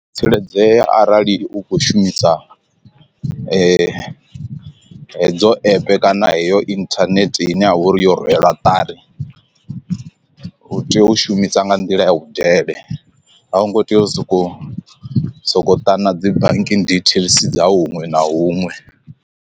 Tsireledzea arali u kho shumisa hedzo app kana heyo inthanethe ine ya vha uri yo rwela ṱari u tea u shumisa nga nḓila ya vhudele a hu ngo tea u soko sokou ṱana dzi banking details dza huṅwe na huṅwe.